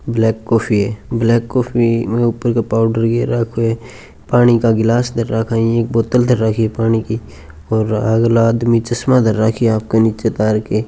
black coffee ए black coffee में उपर का पाउडर गेर राखो ए पाणी का गिलास धर राखा इ एक बोतल धर राखी है पानी की और अगला आदमी चस्मा धर राखी ए आपका निचे तार के --